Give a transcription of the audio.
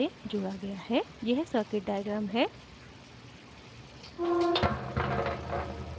यह circuit diagram है